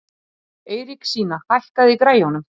Eiríksína, hækkaðu í græjunum.